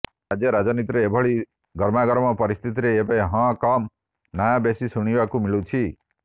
ରାଜ୍ୟ ରାଜନୀତିରେ ଏଭଳି ଗରମାଗରମ ପରିସ୍ଥିତିରେ ଏବେ ହଁ କମ ନା ବେଶୀ ଶୁଣିବାକୁ ମିଳୁଛି